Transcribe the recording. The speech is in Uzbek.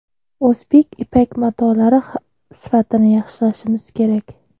O‘zbek ipak matolari sifatini yaxshilashimiz kerak.